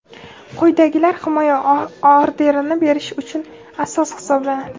Quyidagilar himoya orderini berish uchun asos hisoblanadi:.